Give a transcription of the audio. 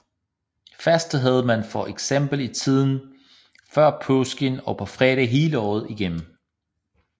Faste havde man for eksempel i tiden før påske og på fredage hele året igennem